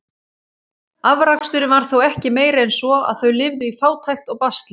Afraksturinn var þó ekki meiri en svo, að þau lifðu í fátækt og basli.